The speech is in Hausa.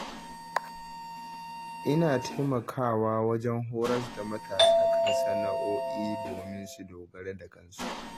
Ina taimaka wa wajen horas da matasa kan sana’o'i domin su dogara da kansu.